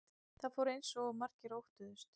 Það fór eins og margir óttuðust